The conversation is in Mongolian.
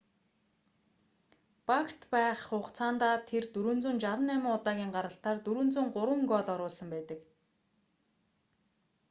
багт байх хугацаандаа тэр 468 удаагийн гаралтаар 403 гоол оруулсан байдаг